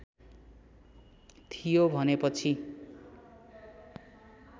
थियो भने पछि